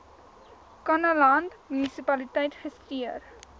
kannaland munisipaliteit gestuur